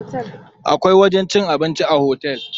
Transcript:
Akwai wajen cin abinci a otel.